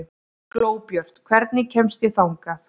Glóbjört, hvernig kemst ég þangað?